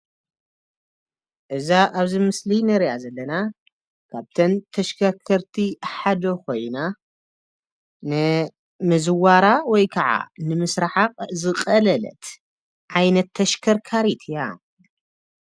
እዛ ኣብዚ ምሰሊ እንርእያ ዘለና ካብተን ተሽከርከርቲ ሓደ ኮይና ንምዝዋራ ወይከዓ ንምስራሓ ዝቐለለት ዓይነት ተሽከርካሪ እያ።